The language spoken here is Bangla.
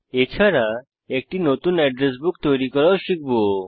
এছাড়া একটি নতুন এড্রেস বুক তৈরি করাও শিখব